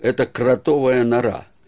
это кротовая нора